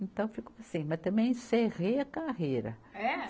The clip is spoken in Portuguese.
Então, ficou assim, mas também encerrei a carreira. É?